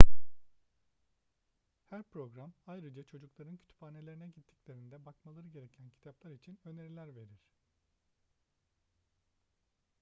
her program ayrıca çocukların kütüphanelerine gittiklerinde bakmaları gereken kitaplar için öneriler verir